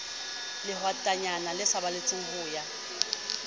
lehwatatanyana le saballetse ho ya